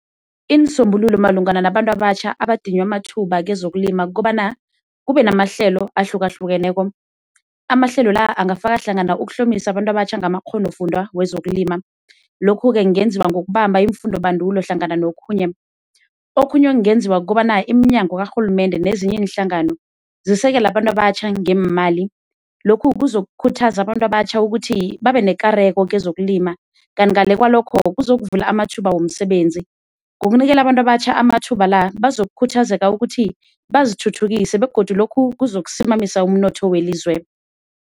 Iinsombululo malungana nabantu abatjha abadinywa amathuba kezokulima kukobana kube namahlelo ahlukahlukeneko, amahlelo la angafaka hlangana ukuhlomisa abantu abatjha ngamakghonofundwa wezokulima lokhu-ke kungenziwa ngokubamba iimfundobandulo hlangana nokhunye. Okhunye ekungenziwa kukobana iminyango karhulumende nezinye iinhlangano zisekele abantu abatjha ngeemali lokhu kuzokukhuthaza abantu abatjha ukuthi babe nekareko kezokulima, kanti ngale kwalokho kuzokuvula amathuba womsebenzi. Ngokunikela abantu abatjha amathuba la bazokukhuthazeka ukuthi bazithuthukise begodu lokhu kuzokusimamisa umnotho welizwe.